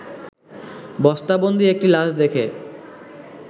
বস্তাবন্দী একটি লাশ দেখে